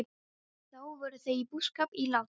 Þá voru þau í búskap í Látrum.